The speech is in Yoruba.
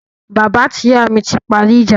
Bàbá mi àti ìyá mi ti parí ìjà